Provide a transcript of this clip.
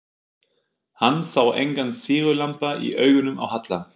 Hann sá engan sigurglampa í augunum á Halla.